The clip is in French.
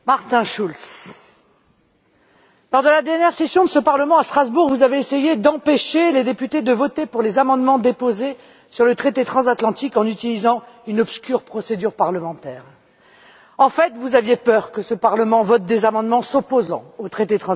Monsieur le Président Martin Schulz, lors de la dernière session de ce Parlement à Strasbourg, vous avez essayé d'empêcher les députés de voter sur les amendements déposés sur le traité transatlantique en utilisant une obscure procédure parlementaire. En fait, vous aviez peur que ce Parlement vote des amendements s'opposant à ce traité.